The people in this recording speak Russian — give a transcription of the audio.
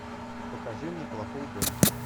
покажи мне плохой дом